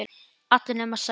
Allar nema Særún